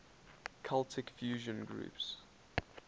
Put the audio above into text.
celtic fusion groups